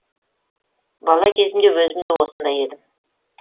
бала кезімде өзім де осындай едім